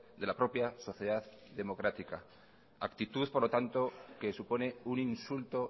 de la propia sociedad democrática actitud por lo tanto que supone un insulto